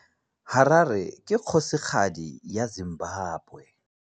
Harare ke kgosigadi ya Zimbabwe.